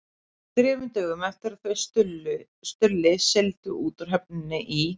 Þremur dögum eftir að þau Stulli sigldu út úr höfninni í